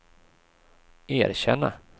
erkänna